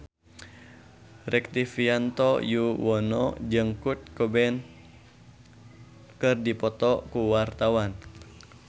Rektivianto Yoewono jeung Kurt Cobain keur dipoto ku wartawan